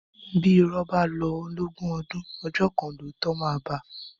Bí ìrọ́ bá lọ lógún ọdún, ọjọ́ kan lóòótọ́ máa bá a.